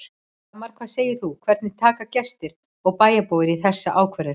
Dagmar, hvað segir þú, hvernig taka gestir og bæjarbúar í þessa ákvörðun?